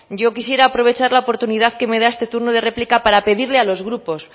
yo quisiera aprovechar la oportunidad que me da este turno de réplica para pedirle a los grupos